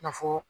Na fɔ